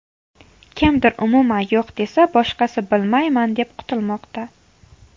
Kimdir umuman yo‘q desa, boshqasi bilmayman deb qutilmoqda.